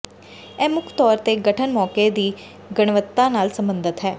ਇਹ ਮੁੱਖ ਤੌਰ ਤੇ ਗਠਨ ਮੌਕੇ ਦੀ ਗੁਣਵੱਤਾ ਨਾਲ ਸਬੰਧਤ ਹੈ